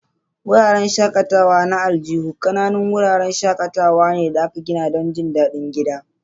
Wuraren shakatawa na aljihu ƙananan wuraren shakatawa ne da aka gina don jin daɗin gida.